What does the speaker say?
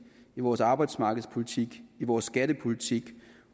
i vores arbejdsmarkedspolitik i vores skattepolitik